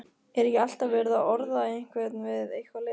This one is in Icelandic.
Er ekki alltaf verið að orða einhvern við eitthvað lið?